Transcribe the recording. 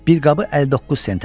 Bir qabı 59 sentədir.